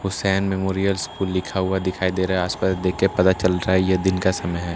Hussain memorial school लिखा हुआ दिखाई दे रहा है आस-पास देख के पता चल रहा है ये दिन का समय है।